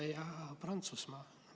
Saksamaa ja Prantsusmaa?